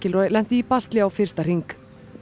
lenti í basli á fyrsta hring